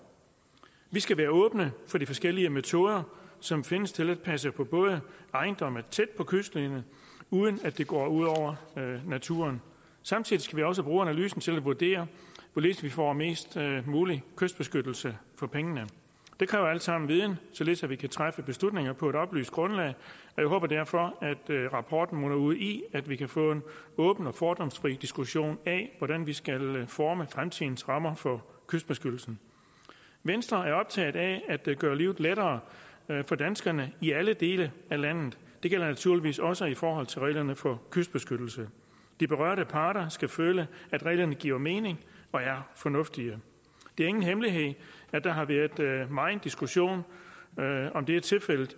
vi skal være åbne for de forskellige metoder som findes til at passe på ejendomme tæt på kystlinjen uden at det går ud over naturen samtidig skal vi også bruge analysen til at vurdere hvorledes vi får mest mulig kystbeskyttelse for pengene det kræver alt sammen viden således at vi kan træffe beslutninger på et oplyst grundlag jeg håber derfor at rapporten munder ud i at vi kan få en åben og fordomsfri diskussion af hvordan vi skal forme fremtidens rammer for kystbeskyttelsen venstre er optaget af at gøre livet lettere for danskerne i alle dele af landet det gælder naturligvis også i forhold til reglerne for kystbeskyttelse de berørte parter skal føle at reglerne giver mening og er fornuftige det er ingen hemmelighed at der har været megen diskussion af om det er tilfældet